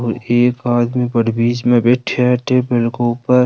और एक आदमी बढ़ बिच में बैठा है टेबल के ऊपर --